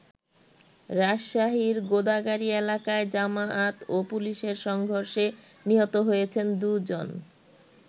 রাজশাহীর গোদাগাড়ী এলাকায় জামায়াত ও পুলিশের সংঘর্ষে নিহত হয়েছেন দু'জন।